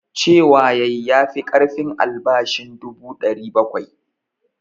Cewa ya yi ya fi ƙarfin albashin dubu 700.